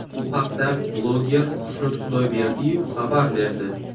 Bu haqda bloger Xushnud Xudoyberdiyev xabar berdi .